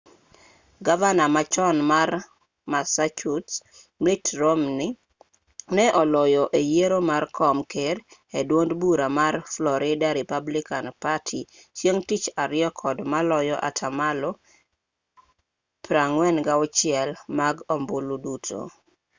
gavana ma chon mar massachusetts mitt romney ne oloyo e yiero mar kom ker e duond bura mar florida republican party chieng' tich ariyo kod maloyo atamalo 46 mag ombulu duto